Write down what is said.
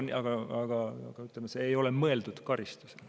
Aga see ei ole mõeldud karistusena.